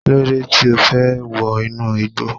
Kílódé tí O fẹ́ wọ inú igbó.